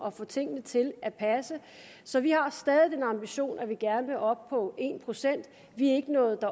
at få tingene til at passe så vi har stadig den ambition at vi gerne vil op på en procent vi er ikke nået